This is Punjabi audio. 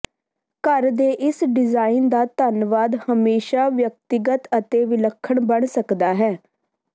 ਘਰ ਦੇ ਇਸ ਡਿਜ਼ਾਇਨ ਦਾ ਧੰਨਵਾਦ ਹਮੇਸ਼ਾ ਵਿਅਕਤੀਗਤ ਅਤੇ ਵਿਲੱਖਣ ਬਣ ਸਕਦਾ ਹੈ